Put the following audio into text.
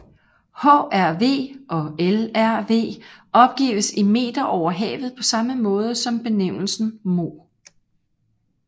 HRV og LRV opgives i meter over havet på samme måde som benævnelsen moh